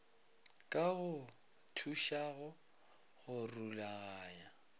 ka go thušago go rulaganya